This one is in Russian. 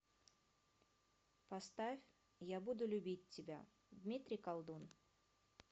поставь я буду любить тебя дмитрий колдун